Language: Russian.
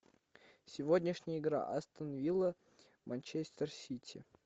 сегодняшняя игра астон вилла манчестер сити